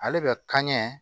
Ale bɛ kɛɲɛ